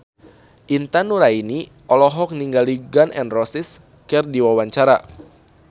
Intan Nuraini olohok ningali Gun N Roses keur diwawancara